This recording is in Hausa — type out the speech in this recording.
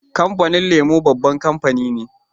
Kamfanin lemo babban kamfani ne